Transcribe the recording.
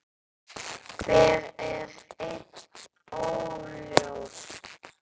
Hver er enn óljóst.